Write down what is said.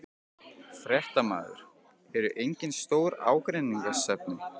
Fréttamaður: Eru engin stór ágreiningsefni?